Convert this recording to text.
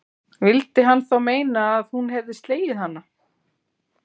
Vildi hann þá meina að hún hefði slegið hana?